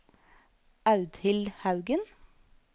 Audhild Haugen